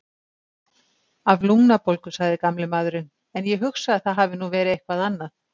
Af lungnabólgu, sagði gamli maðurinn, en ég hugsa að það hafi nú verið eitthvað annað.